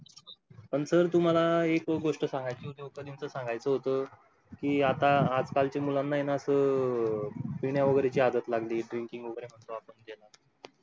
पण सर तुम्हाला एक गोष्ट सांगाय ची उद्योगपतींचा सांगायचं होतं की आता आजकाल चे मुलांना ऐन पिण्या वगैरे आदत लागली drinking वगैरे म्हणतो आपण ज्याला